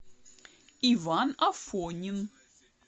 иван афонин